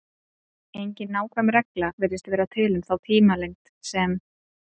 Engin nákvæm regla virðist vera til um þá tímalengd sem